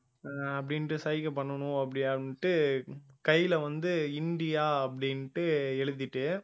ஆஹ் அப்படின்ட்டு சைகை பண்ணணும் அப்படியா அப்படின்னுட்டு கையில வந்து இந்தியா அப்படின்ட்டு எழுதிட்டு